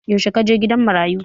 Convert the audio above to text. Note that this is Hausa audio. Yaushe ka je gidan marayu?